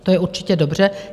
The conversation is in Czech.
To je určitě dobře.